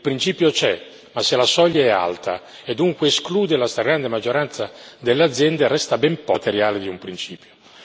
Il principio c'è, ma se la soglia è alta, e dunque esclude la stragrande maggioranza delle aziende, resta ben poco nella traduzione materiale di un principio.